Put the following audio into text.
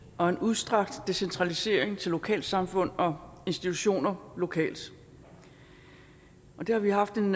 og en udstrakt decentralisering til lokalsamfund og institutioner lokalt det har vi haft en